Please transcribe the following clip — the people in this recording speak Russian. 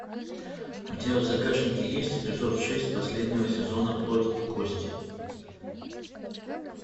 у тебя в загашнике есть эпизод шесть последнего сезона плоть и кости